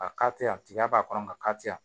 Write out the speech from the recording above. A ka teliya a tigiya b'a kɔnɔ ka teliya